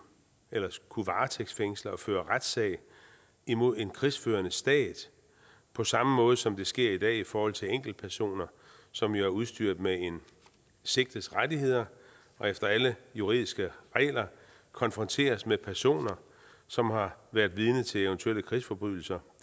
kunne varetægtsfængsle og føre retssag imod en krigsførende stat på samme måde som det sker i dag i forhold til enkeltpersoner som jo er udstyret med en sigtets rettigheder og efter alle juridiske regler konfronteres med personer som har været vidne til eventuelle krigsforbrydelser